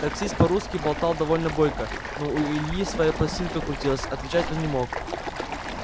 таксист по-русски болтал довольно бойко но у ильи своя пластинка крутилась отвечать он не мог